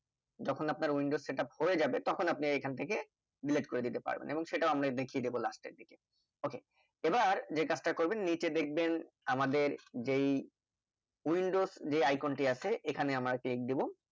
যখন আপনার Windows setup হয়ে যাবে তখন আপনি এখান থেকে Delete করে দিতে পারবেন এবং সেটাও আমরা দেখিয়ে দেব last এর দিকে ok এবার যে কাজটা করবেন নিচে দেখবেন আমাদের যেই Windows যে Icon টি আছে এখানে আমরা click দিবো